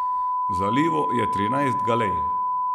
V zalivu je trinajst galej.